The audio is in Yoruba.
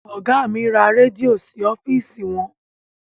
Ọgá mi ra rẹ́díò sí ọ́fìsì wọn.